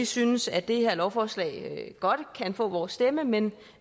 synes at det her lovforslag godt kan få vores stemme men